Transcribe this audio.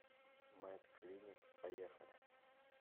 мэд клиник поехали